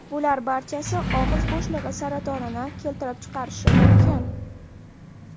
Bular barchasi og‘iz bo‘shlig‘i saratonini keltirib chiqarishi mumkin.